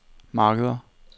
markeder